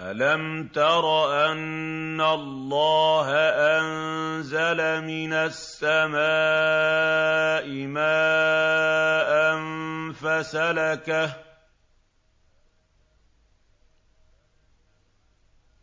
أَلَمْ تَرَ أَنَّ اللَّهَ أَنزَلَ مِنَ السَّمَاءِ مَاءً